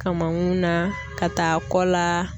Kamankun na, ka taa kɔ la.